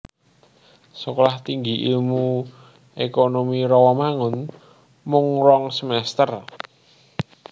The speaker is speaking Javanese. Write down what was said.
Sekolah Tinggi Ilmu Ekonomi Rawamangun mung rong semester